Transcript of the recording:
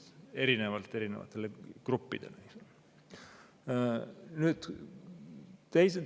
Me ei saa erinevatele gruppidele õigust erinevalt kohaldada.